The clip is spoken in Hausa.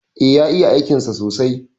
E, ya iya aikinsa sosai.